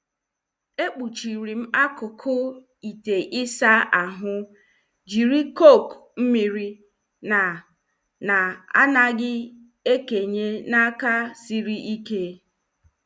E kpochirim akụkụ ite Isa ahụ jiri cok mmiri na- na- anaghị ekenye n' aka sịrị ike.